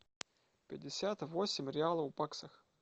пятьдесят восемь реалов в баксах